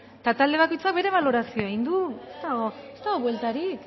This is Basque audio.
eta talde bakoitzak bere balorazioa egin du ez dago ez dago bueltarik